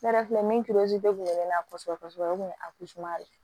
Ne yɛrɛ filɛ min de kun ye ne na kosɛbɛ kosɛbɛ o kun ye de ye